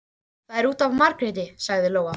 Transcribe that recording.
Það er út af Margréti, sagði Lóa.